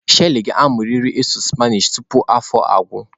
Shelly ga-amụrịrị ịsụ Spanish tupu afọ agwụ.